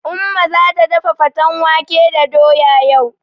Umma zata dafa faten wake da doya yau.